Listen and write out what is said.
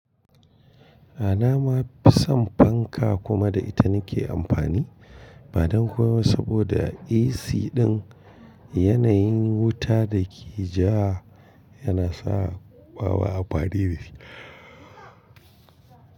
A na ma fi son fanka kuma da ita na ke amfani, ba don komai ba saboda AC ɗin yanayin wuta da ke ja yana sa ɓawa a ɓare.